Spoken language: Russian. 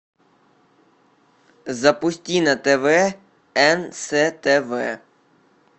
запусти на тв нств